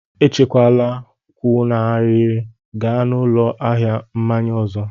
Echela kwụ n'ahịrị, gaa n'ụlọ ahịa mmanya ọzọ!